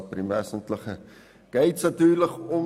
Aber im Wesentlichen geht es natürlich darum.